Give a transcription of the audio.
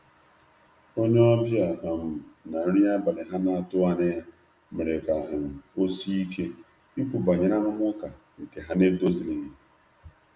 onye obia um na nri abali ha na atughi anya ya mere ka um osie ike Ikwu banyere arụmaka nke ha na edozilighi.